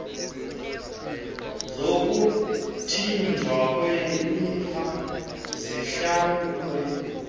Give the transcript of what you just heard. zokuthinjwa kwelifa zihlawulwe